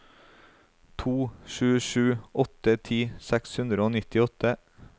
to sju sju åtte ti seks hundre og nittiåtte